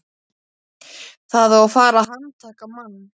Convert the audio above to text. Það á að fara að handtaka mann.